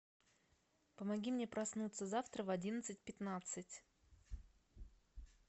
помоги мне проснуться завтра в одиннадцать пятнадцать